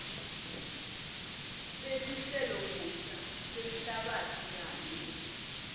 teluhlelobusha lwemhlabatsi kanye